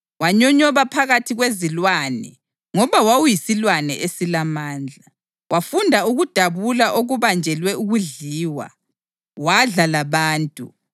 Wanyonyoba phakathi kwezilwane ngoba wawuyisilwane esilamandla. Wafunda ukudabula okubanjelwe ukudliwa, wadla labantu.